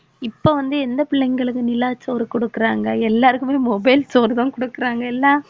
இப்ப வந்து எந்த பிள்ளைங்களுக்கு நிலா சோறு குடுக்குறாங்க எல்லாருக்குமே mobile சோறு தான் கொடுக்குறாங்க இல்ல